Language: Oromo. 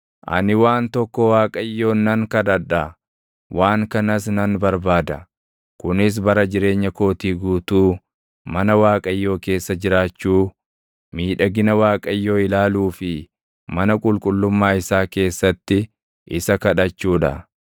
Ani waan tokko Waaqayyoon nan kadhadha; waan kanas nan barbaada: Kunis bara jireenya kootii guutuu mana Waaqayyoo keessa jiraachuu, miidhagina Waaqayyoo ilaaluu fi mana qulqullummaa isaa keessatti isa kadhachuu dha.